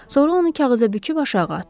Sonra onu kağıza büküb aşağı atdı.